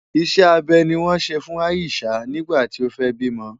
Ìṣe abẹ ni wọ́n ṣe fún Ayishah nígbà tí ó fẹ́ bímọ.